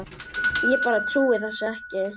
Ég bara trúði þessu ekki.